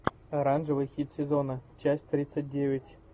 оранжевый хит сезона часть тридцать девять